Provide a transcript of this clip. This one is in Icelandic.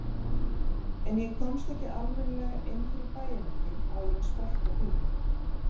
En ég komst ekki almennilega inn fyrir bæjarmörkin áður en sprakk á bílnum.